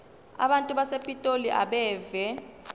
abantu basepitoli abeve